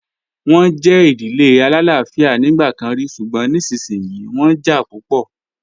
Wọ́n jẹ́ ìdílé alálàáfíà nígbà kan rí, ṣùgbọ́n nísinsìnyí wọ́n jà púpọ̀.